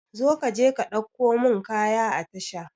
Zo ka je ka ɗauko mun kaya a tasha